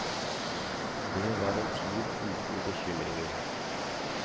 Det var en tid uten bekymringer.